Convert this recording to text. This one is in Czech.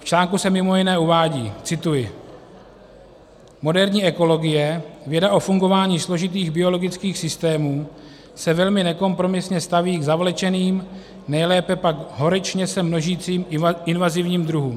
V článku se mimo jiné uvádí - cituji: "Moderní ekologie, věda o fungování složitých biologických systémů, se velmi nekompromisně staví k zavlečeným, nejlépe pak horečně se množícím invazivním druhům.